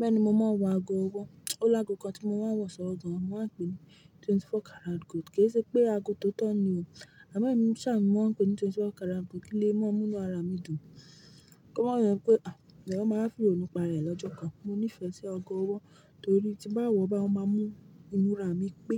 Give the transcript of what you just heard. Bẹ́ẹ̀nì mo mà n wọ ààgo ọwọ O nì àgò kàn tí mo máa ń wọ̀ sọ́wọ́ gan máa ń pè ní twenty four carat gold. Kì í ṣe pé ago tóotọ́ ni o, àmọ́ èmí ṣa ni mo máa ń pè ní twenty four carat gold kí lé máa mú inú ara mi dùn. Kí ó má je pé́, "À, ẹ̀yàn máa wa fi ìrònú pa àra rẹ̀ lọ́jọ́ kan." Mo nífẹ̀ẹ́ sí agọ́ ọwọ́ nìtorí tí mó bá wọ̀ ọ́ báyi, ó máa mú imúra mi pé,